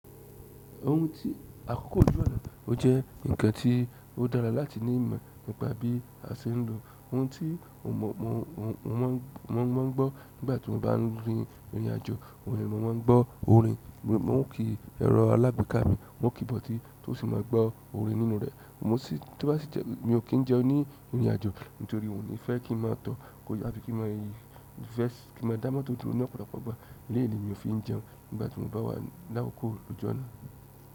Ohun tí àkókò òjò náà jẹ́, ó jẹ́ ǹkan tí ó dára láti ní ìmọ̀ nípa bí a ṣe ń lo òhun tí wọ́n máa ń gbọ́ nígbà tí mo bá ń rìnrìn àjò. Ohun ni wọ́n máa ń gbọ́ orin, wọ́n ò kí ẹrọ alágbèéká mi, wọ́n kì í bọ̀ ọ́ tí tó sì máa gbọ́ orin nínú rẹ̀. Mo sì tó bá sì jẹ́ mi ò kí ń jẹun ní ìrìn àjò nítorí òní fẹ́ kí n máa tọ́, kó yá bí kí n máa yí, kí n máa dá motó durò ní ọ̀pọ̀lọpọ̀ ìgbà. Eléyi mi o fi ń jẹun nígbà tí mo bá wà ni lakókò lóju onáà.